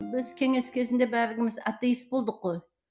біз кеңес кезінде барлығымыз атеист болдық қой